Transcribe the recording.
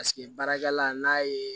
Paseke baarakɛla n'a ye